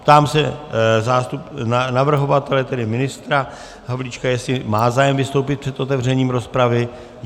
Ptám se navrhovatele, tedy ministra Havlíčka, jestli má zájem vystoupit před otevřením rozpravy.